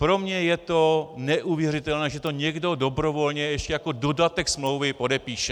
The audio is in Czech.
Pro mne je to neuvěřitelné, že to někdo dobrovolně ještě jako dodatek smlouvy podepíše.